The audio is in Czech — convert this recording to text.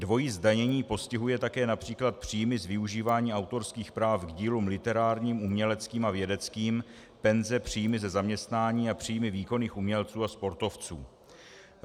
Dvojí zdanění postihuje také například příjmy z využívání autorských práv k dílům literárním, uměleckým a vědeckým, penze, příjmy ze zaměstnání a příjmy výkonných umělců a sportovců.